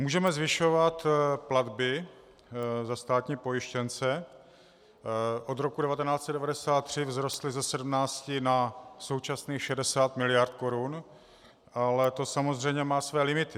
Můžeme zvyšovat platby za státní pojištěnce, od roku 1993 vzrostly ze 17 na současných 60 miliard korun, ale to samozřejmě má své limity.